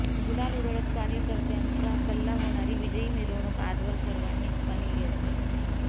गुलाल उधळत कार्यकर्त्यांचा कल्ला होणारी विजयी मिरवणूक आजवर सर्वांनीच पाहिली असेल